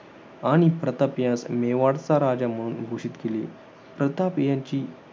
आणि प्रताप यांस मेवाडचा राजा म्हणून घोषित केले. तथापि यांची